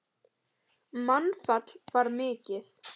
Mannfall var mikið.